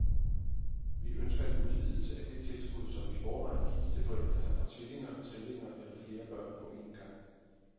Vi ønsker en udvidelse af det tilskud, som i forvejen gives til forældre, der får tvillinger, trillinger eller flere børn på en gang.